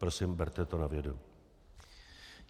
Prosím, berte to na vědomí.